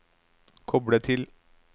koble til